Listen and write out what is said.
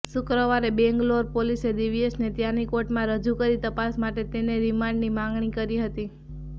શુક્રવારે બેંગ્લોર પોલીસે દિવ્યેશને ત્યાંની કોર્ટમાં રજૂ કરી તપાસ માટે તેના રિમાન્ડની માગણી કરી હતી